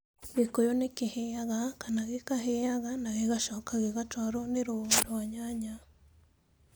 Gĩkũyũ nĩ kĩhĩaga kana gĩkahĩaga na gĩgacoka gĩgatwarwo na rũũa rwa nyanya.